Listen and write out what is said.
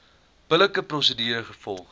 billike prosedure gevolg